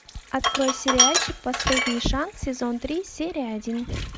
открой сериальчик последний шанс сезон три серия один